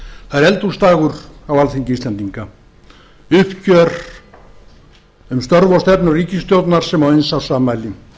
það er eldhúsdagur á alþingi uppgjör um störf og stefnu ríkisstjórnar sem á eins árs afmæli